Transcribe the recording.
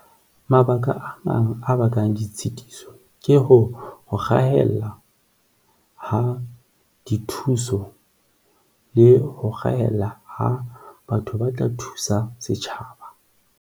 Mabaka a mang a bakang ditshitiso ke ho hahella ha dithuso le ho rahella ho batho ba tla thusa setjhaba.